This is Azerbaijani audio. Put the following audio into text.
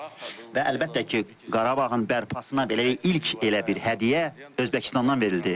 Və əlbəttə ki, Qarabağın bərpasına belə ilk elə bir hədiyyə Özbəkistandan verildi.